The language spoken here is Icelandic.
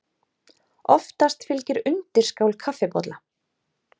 Oftast fylgir undirskál kaffibolla.